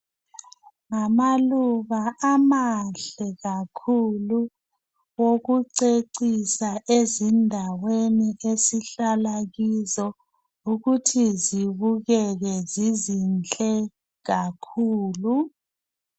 Ngamaluba amahle kakhulu okucecisa ezindaweni esihlala kizo ukuthi zibukeke zizinhle kakhulu .